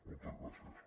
moltes gràcies